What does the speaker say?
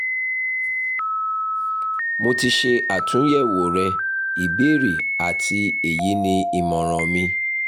mo ti ṣe atunyẹwo rẹ ibeere ati eyi ni imọran mi